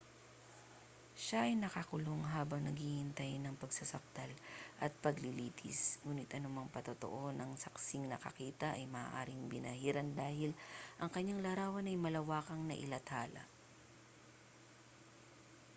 siya ay nakakulong habang naghihintay ng pagsasakdal at paglilitis nguni't anumang patotoo ng saksing nakakita ay maaaring binahiran dahil ang kaniyang larawan ay malawakang nailathala